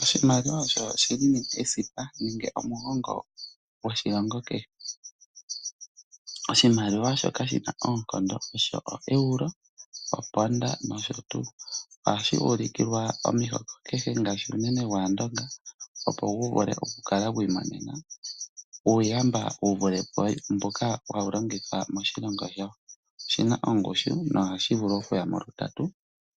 Oshimaliwa osho shili esipa nenge omugongo gwoshilongo kehe. Oshimaliwa shoka shina oonkondo osho o Euro, oponda nosho tuu. Ohashi ulikilwa omihoko kehe ngaashi unene gwaandonga opo gu vule okukalagwi imonena uuyamba. Oshina ongushu no hashi vulu okuyamo lutatu